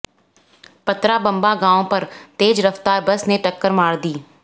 पतरा बंबा गांव पर तेज रफ्तार बस ने टक्कर मार दी